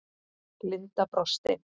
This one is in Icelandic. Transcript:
Linda brosti.